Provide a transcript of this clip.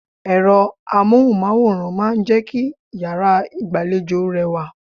Ẹ̀rọ Amóhùnmáwòrán máa ń jẹ́ kí yàrá ìgbàlejò rẹwà.